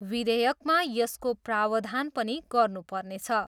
विधेयकमा यसको प्रावधान पनि गर्नु पर्नेछ।